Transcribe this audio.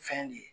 Fɛn de ye